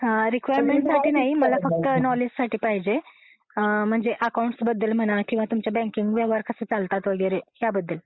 Requirement साठी नाही मला फक्त नॉलेजसाठी पाहिजे म्हणजे अकॉउंट बद्दल म्हणा किंवा तुमचे बँकिंग व्यवहार कसे चालतात वैगेरे ह्याबद्दल.